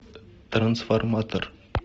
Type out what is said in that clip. трансформатор